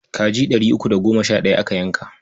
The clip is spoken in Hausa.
Kaji ɗari uku da goma sha ɗaya aka yanka.